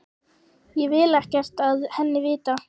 Ég vil ekkert af henni vita.